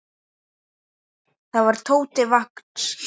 Það var Tóti Vagns.